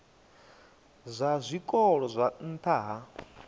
zwa zwikolo zwa nha ha